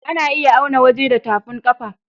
A na iya auna waje da tafin kafa